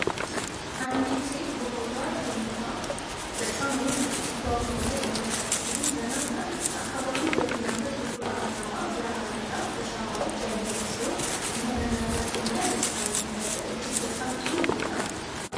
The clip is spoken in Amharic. አንዲት ሴት በሆዷ ተኝታ በጣም ውብ በሆነ የማሳጅ ክፍል ውስጥ ዘና ትላለች። አካባቢው በሚያምር ብርቱካንማ ብርሃንና በሻማዎች ያጌጠ ሲሆን፣ መረጋጋትንና ደስታን የሚፈጥር እጅግ በጣም ጥሩ ቦታ ነው።